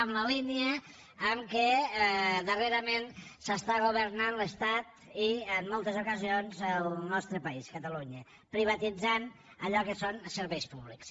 en la línia en què darrerament s’està governant l’estat i en moltes ocasions el nostre país catalunya privatitzant allò que són serveis públics